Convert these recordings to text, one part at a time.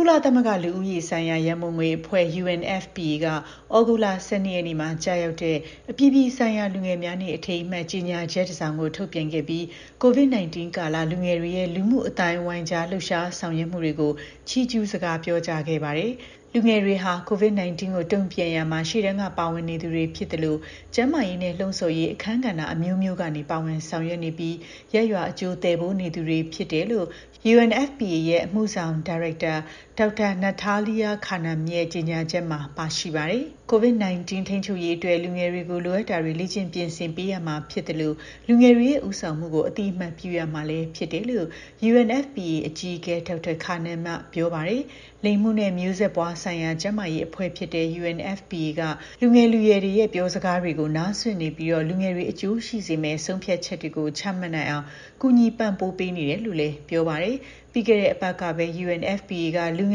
ုလသမဂ္ဂ လူဦးရေဆိုင်ရာ ရန်ပုံငွေအဖွဲ့ UNFPA က ဩဂုတ်လ ၁၂ ရက်နေ့မှာ ကျရောက်တဲ့ အပြည်ပြည်ဆိုင်ရာ လူငယ်များနေ့အထိမ်းအမှတ် ကြေညာချက်တစ်စောင် ထုတ်ပြန်ခဲ့ပြီး COVID 19 ကာလ လူငယ်တွေရဲ့ လူမှုအသိုင်းအဝိုင်းကြား လှုပ်ရှား ဆောင်ရွက်မှုတွေကို ချီးကျူးစကား ပြောကြားခဲ့ပါတယ်။ လူငယ်တွေဟာ COVID 19 ကို တုံ့ပြန်ရာမှာ ရှေ့တန်းက ပါဝင်နေသူတွေ ဖြစ်သလို ကျန်းမာရေးနဲ့ လှုံ့ဆော်ရေး အခန်းကဏ္ဍ အမျိုးမျိုးကနေ ပါဝင်ဆောင်ရွက်နေပြီး ရပ်ရွာ အကျိုးသယ်ပိုးနေသူတွေဖြစ်တယ်လို့ UNFPA ရဲ့ အမှုဆောင်ဒါရိုက်တာ Dr. Natalia Kanem ရဲ့ ကြေညာချက်မှာ ပါရှိပါတယ်။ COVID 19 ထိန်းချုပ်ရေးအတွက် လူငယ်တွေကို လိုအပ်တာတွေကို လေ့ကျင့် ပြင်ဆင်ပေးရမှာ ဖြစ်သလို လူငယ်တွေရဲ့ ဦးဆောင်မှုကို အသိအမှတ်ပြုရမှာလည်း ဖြစ်တယ်လို့ UNFPA အကြီးအကဲ Dr. Kanem က ပြောပါတယ်။ လိင်မှုနဲ့ မျိုးဆက်ပွားဆိုင်ရာ ကျန်းမာရေးအဖွဲ့ဖြစ်တဲ့ UNFPA က လူငယ်လူရွယ်တွေရဲ့ ပြောစကားတွေကို နားစွင့်နေပြီး လူငယ်တွေ အကျိုးရှိစေမယ့် ဆုံးဖြတ်ချက်တွေ ချမှတ်နိုင်အောင် ကူညီ ပံ့ပိုးပေးနေတယ်လို့ လည်း ပြောပါတယ်။ ပြီးခဲ့တဲ့ အပတ်ကပဲ UNFPA က လူင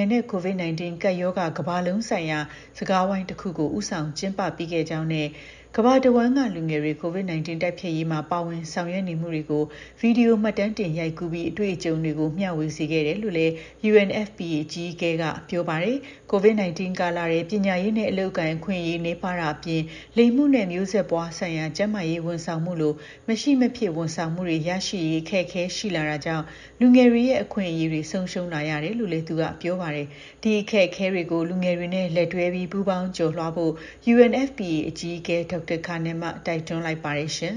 ယ်နဲ့ COVID 19 ကပ်ရောဂါကမ္ဘာလုံးဆိုင်ရာ စကားဝိုင်းတစ်ခုကို ဦးဆောင် ကျင်းပပေးခဲ့ကြောင်းနဲ့ ကမ္ဘာတစ်ဝှမ်းက လူငယ်တွေ COVID 19 တိုက်ဖျက်ရေးမှာ ပါဝင်ဆောင်ရွက်နေမှုတွေကို ဗီဒီယို မှတ်တမ်းတင် ရိုက်ကူးပြီးအတွေ့အကြုံတွေကို မျှဝေစေခဲ့တယ်လို့လည်း UNFPA အကြီးအကဲက ပြောပါတယ်။ COVID 19 ကာလထဲ ပညာရေးနဲ့ အလုပ်အကိုင် အခွင့်အရေး နည်းပါးတာအပြင် လိင်မှုနဲ့ မျိုးဆက်ပွားဆိုင်ရာ ကျန်းမာရေး ဝန်ဆောင်မှုလို မရှိမဖြစ် ဝန်ဆောင်မှုတွေ ရရှိရေး အခက်အခဲ ရှိလာတာကြောင့် လူငယ်တွေရဲ့ အခွင့်အရေး ဆုံးရှုံးလာရတယ်လို့လည်း သူက ပြောပါတယ်။ ဒီ အခက်အခဲတွေကို လူငယ်တွေနဲ့ လက်တွဲပြီး ပူးပေါင်းကျော်လွှားဖို့ UNFPA အကြီးအကဲ Dr. Kanem က တိုက်တွန်းလိုက်ပါတယ် ရှင်